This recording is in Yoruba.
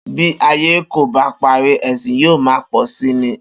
Bí ayé kò bá parí, è̩sìn yóò máa pò̩ si ni